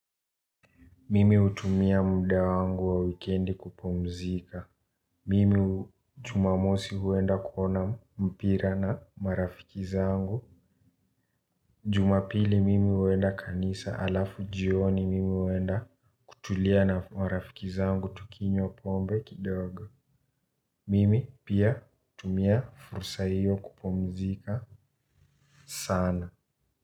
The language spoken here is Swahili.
Mimi hutumia muda wangu wa wikendi kupumzika. Mimi hu jumamosi huenda kuona mpira na marafiki zangu. Jumapili mimi huenda kanisa alafu jioni mimi huenda kutulia na marafiki zangu tukinywa pombe kidogo. Mimi pia hutumia fursa hiyo kupumzika sana.